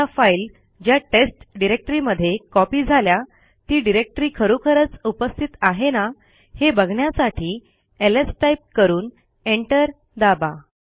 आता फाईल ज्या टेस्ट डिरेक्टरीमध्ये कॉपी झाल्या ती डिरेक्टरी खरोखरच उपस्थित आहे ना हे बघण्यासाठी एलएस टाईप करून एंटर दाबा